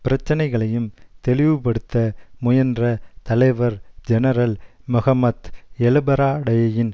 பிரச்சனைகளையும் தெளிவுபடுத்த முயன்ற தலைவர் ஜெனரல் மொஹமத் எலுபராடேயின்